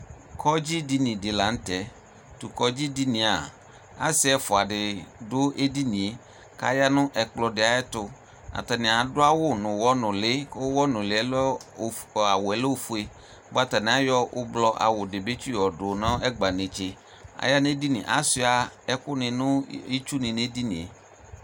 Kɔdzi dini di la nʋ tɛ Tʋ kɔdzi dini yɛ a, asi ɛfua di dʋ edini e kʋ aya nʋ ɛkplɔ di ayɛ tʋ Atani adʋ awʋ nʋ ʋwɔnʋli kʋ ʋwɔnʋli lɛ ɔfu, awʋ lɛ ofue bua atani ayɔ ʋblʋɔ awʋ di bi tsiyɔdʋ nʋ ɛgba netse Aya nʋ edini e, asua ɛkʋ ni nʋ itsu ni nʋ edini e